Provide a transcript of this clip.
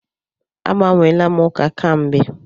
Agbanweela m ụka kamgbe.